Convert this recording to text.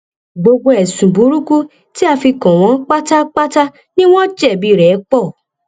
gbogbo ẹsùn burúkú tí a fi kàn wọn pátápátá wọn pátápátá ni wọn jẹbi rẹ poo